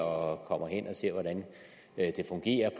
og kommer hen og ser hvordan det fungerer